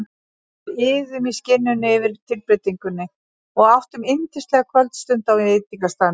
Við iðuðum í skinninu yfir tilbreytingunni og áttum yndislega kvöldstund á veitingastaðnum.